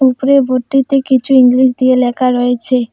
উপরের বোর্টটিতে কিছু ইংলিশ দিয়ে লেকা রয়েচে ।